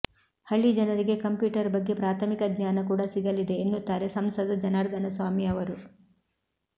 ಹಳ್ಳಿ ಜನರಿಗೆ ಕಂಪ್ಯೂಟರ್ ಬಗ್ಗೆ ಪ್ರಾಥಮಿಕ ಜ್ಞಾನ ಕೂಡಾ ಸಿಗಲಿದೆ ಎನ್ನುತ್ತಾರೆ ಸಂಸದ ಜನಾರ್ದನಸ್ವಾಮಿ ಅವರು